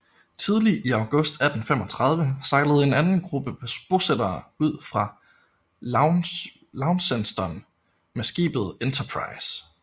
Tidlig i august 1835 sejlede en anden gruppe bosættere ud fra Launceston med skibet Enterprize